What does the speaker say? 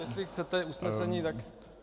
Jestli chcete usnesení, tak...